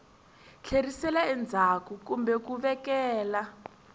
tlherisela endzhaku kumbe ku vekela